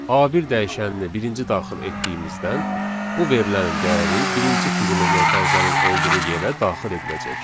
A1 dəyişənini birinci daxil etdiyimizdən bu verilənin dəyəri birinci fiqurlu mötərizənin olduğu yerə daxil ediləcək.